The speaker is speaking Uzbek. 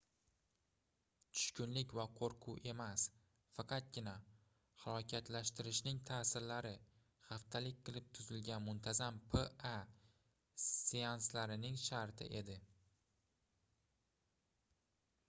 tushkunlik va qoʻrquv emas faqatgina halokatlashtirishning taʼsirlari haftalik qilib tuzilgan muntazam pa seanslarining sharti edi